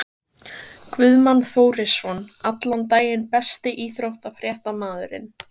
Guðmann Þórisson allan daginn Besti íþróttafréttamaðurinn?